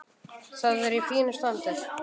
Það er í fínu standi.